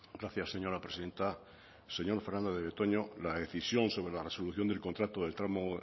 gracias señora presidenta señor fernandez de betoño la decisión sobre la resolución del contrato del tramo